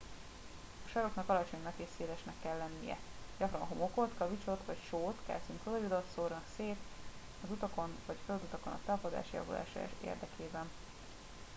a saroknak alacsonynak és szélesnek kell lennie. gyakran homokot kavicsot vagy sót kalcium kloridot szórnak szét az utakon vagy földutakon a tapadás javulása érdekében